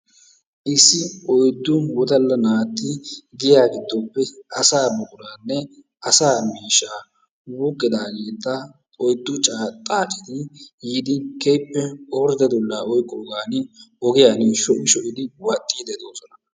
Issi oyddu wodalla naati giyaa giddoppe asaa buquraanne asaa miishshaa wuuqqidaageeta oyddu xaaceti yiidi keehippe ordde dullaa oqqogan ogiyaan shocci shoccidi wadhiidi de'oosona.